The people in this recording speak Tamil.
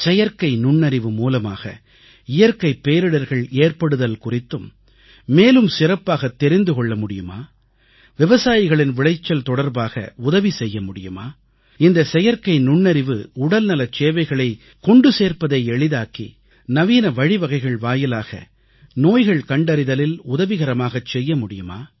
செயற்கை நுண்ணறிவு மூலமாக இயற்கைப் பேரிடர்கள் ஏற்படுதல் குறித்து மேலும் சிறப்பாகத் தெரிந்து கொள்ளமுடியுமா விவசாயிகளின் விளைச்சல் தொடர்பாக உதவி செய்யமுடியுமா இந்த செயற்கை நுண்ணறிவு உடல்நலச் சேவைகளைக் கொண்டு சேர்ப்பதை எளிதாக்கி நவீன வழிவகைகள் வாயிலாக நோய்கள் கண்டறிதலில் உதவிகரமாகச் செய்யமுடியுமா